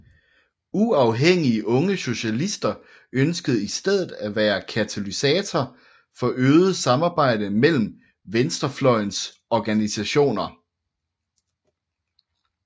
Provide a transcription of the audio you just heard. Uafhængige Unge Socialister ønskede i stedet at være katalysator for øget samarbejde mellem venstrefløjens organsiationer